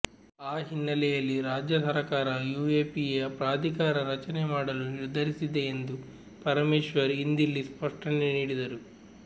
ಆ ಹಿನ್ನೆಲೆಯಲ್ಲಿ ರಾಜ್ಯ ಸರಕಾರ ಯುಎಪಿಎ ಪ್ರಾಧಿಕಾರ ರಚನೆ ಮಾಡಲು ನಿರ್ಧರಿಸಿದೆ ಎಂದು ಪರಮೇಶ್ವರ್ ಇಂದಿಲ್ಲಿ ಸ್ಪಷ್ಟಣೆ ನೀಡಿದರು